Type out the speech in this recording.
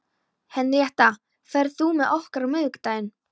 Henrietta, ferð þú með okkur á miðvikudaginn?